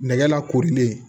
Nɛgɛ lakorilen